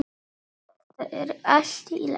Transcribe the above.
Þetta er allt í lagi.